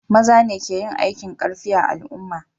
Maza ne ke yin aikin karfi a al'umma